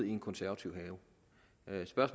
i en konservativ have